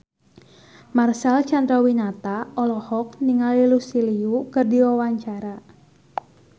Marcel Chandrawinata olohok ningali Lucy Liu keur diwawancara